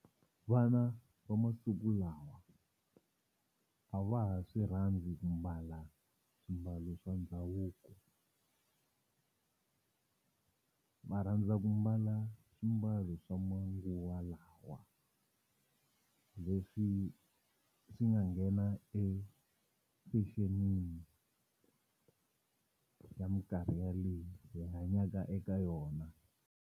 Vana va masiku lawa a va ha swi rhandzi ku mbala swimbalo swa ndhavuko va rhandza ku mbala swimbalo swa manguwa lawa leswi swi nga nghena e fashion-ini ya minkarhi yaleyi hi hanyaka eka yona.